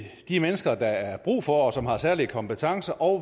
de mennesker der er brug for og som har særlige kompetencer og